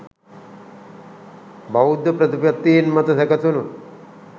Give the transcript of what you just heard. බෞද්ධ ප්‍රතිපත්තීන් මත සැකැසුණු